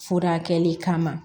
Furakɛli kama